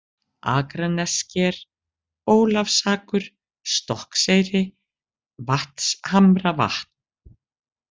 Akranessker, Ólafsakur, Stokkseyri, Vatnshamravatn